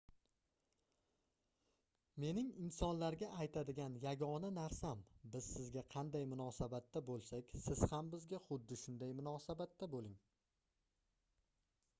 mening insonlarga aytadigan yagona narsam biz sizga qanday munosabatda boʻlsak siz ham bizga xuddi shunday munosabatda boʻling